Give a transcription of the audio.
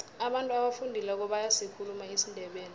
abantu abafundileko bayasikhuluma isindebele